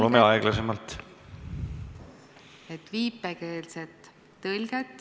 Palume aeglasemalt!